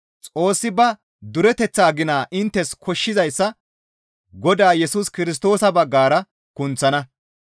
Xoossi ba dureteththaa gina inttes koshshizayssa Godaa Yesus Kirstoosa baggara kunththana.